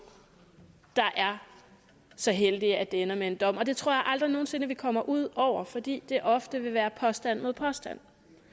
der er så heldige at det ender med en dom og det tror jeg aldrig nogen sinde vi kommer ud over fordi det ofte vil være påstand mod påstand